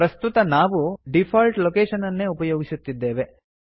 ಪ್ರಸ್ತುತ ನಾವು default location ಅನ್ನೇ ಉಪಯೋಗಿಸುತ್ತಿದ್ದೇವೆ